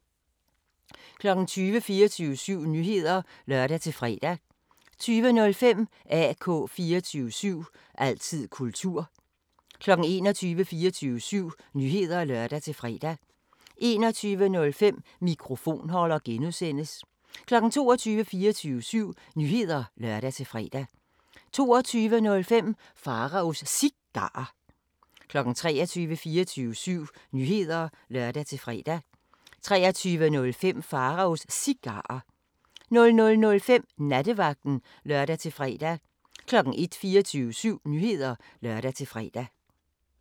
20:00: 24syv Nyheder (lør-fre) 20:05: AK 24syv – altid kultur 21:00: 24syv Nyheder (lør-fre) 21:05: Mikrofonholder (G) 22:00: 24syv Nyheder (lør-fre) 22:05: Pharaos Cigarer 23:00: 24syv Nyheder (lør-fre) 23:05: Pharaos Cigarer 00:05: Nattevagten (lør-fre) 01:00: 24syv Nyheder (lør-fre)